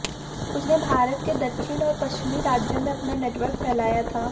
उसने भारत के दक्षिण और पश्चिमी राज्यों में अपना नेटवर्क फैलाया था